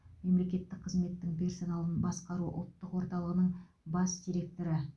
мемлекеттік қызметтің персоналын басқару ұлттық орталығының бас директоры